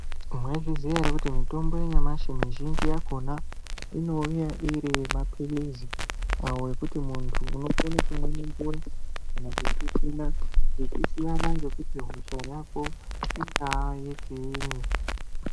Mwaizviziya here kuti mitombo yanyamashi mizhinji yakona inouya arimapirizi ngekuti muntu unokona kumwa nemvura kana kusvisvina zvichisiyana kuti hosha Yako ingava yechinyi.